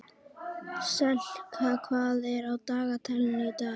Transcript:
Selka, hvað er á dagatalinu í dag?